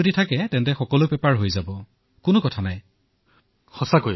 ঠিক আছে আপোনাক আৰু আপোনাৰ পৰিয়ালৰ সদস্যলৈ মোৰ তৰফৰ পৰা অশেষ শুভকামনা থাকিল